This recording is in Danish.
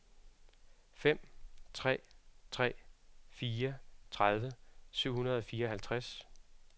fem tre tre fire tredive syv hundrede og fireoghalvtreds